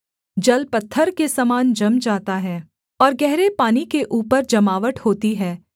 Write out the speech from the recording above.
जल पत्थर के समान जम जाता है और गहरे पानी के ऊपर जमावट होती है